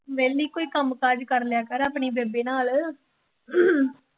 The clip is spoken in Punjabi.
ਵਿਹਲੀ ਕੋਈ ਕੰਮ ਕਾਜ ਕਰ ਲਿਆ ਕਰ ਆਪਣੀ ਬੇਬੇ ਨਾਲ